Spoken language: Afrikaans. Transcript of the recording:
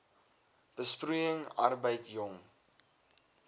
besproeiing arbeid jong